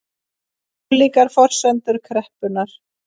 Ólíkar forsendur kreppunnar